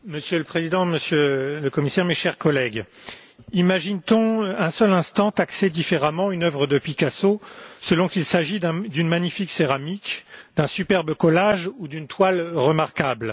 Monsieur le Président, Monsieur le Commissaire, chers collègues, imagine t on un seul instant taxer différemment une œuvre de Picasso selon qu'il s'agit d'une magnifique céramique, d'un superbe collage ou d'une toile remarquable?